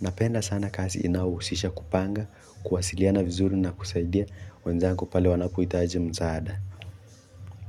Napenda sana kasi inahusisha kupanga, kuwasiliana vizuri na kusaidia wenzangu pale wanapoitaji msaada.